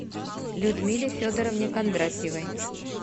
людмиле федоровне кондратьевой